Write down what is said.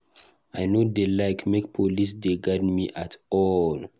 I no dey like make police dey guard me at all.